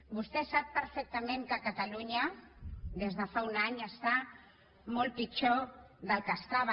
vostè sap perfectament que catalunya des de fa un any està molt pitjor del que estava